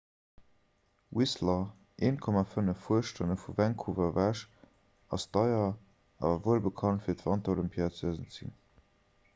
whistler 1.5 fuerstonne vu vancouver ewech ass deier awer wuelbekannt fir d'wanterolympiad 2010